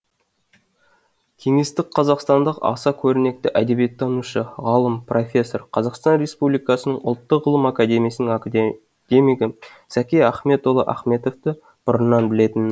кеңестік қазақстандық аса көрнекті әдебиеттанушы ғалым профессор қазақстан республикасының ұлттық ғылым академиясының академигі зәки ахметұлы ахметовты бұрыннан білетінмін